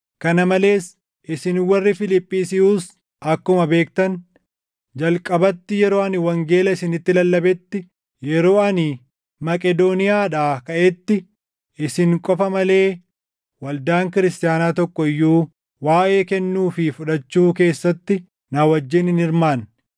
Kana malees isin warri Fiiliphisiyuus akkuma beektan, jalqabatti yeroo ani wangeela isinitti lallabetti, yeroo ani Maqedooniyaadhaa kaʼetti isin qofa malee waldaan kiristaanaa tokko iyyuu waaʼee kennuu fi fudhachuu keessatti na wajjin hin hirmaanne.